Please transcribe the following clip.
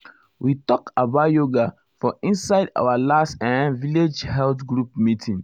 we talk about yoga for inside our last[um]village health group meeting.